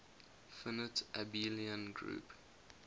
finite abelian group